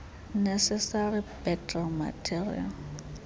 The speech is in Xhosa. necessary background material